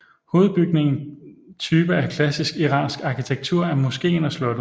Hovedbygningen typer af klassisk iransk arkitektur er moskéen og slottet